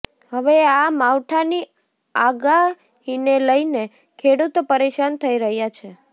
હવે આ માવઠાની આગાહીને લઈને ખેડૂતો પરેશાન થઈ રહ્યા છે